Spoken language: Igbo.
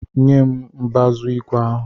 Nyem mbazu igwe ahụ!